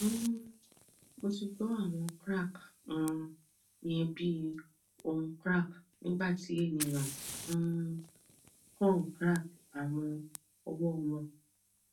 um mo ti gbọ awọn crack um yen bi ohun crack nigbati eniyan um kan crack awọn ọwọ wọn